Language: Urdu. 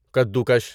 کدو کش